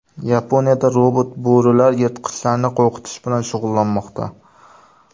Yaponiyada robot-bo‘rilar yirtqichlarni qo‘rqitish bilan shug‘ullanmoqda.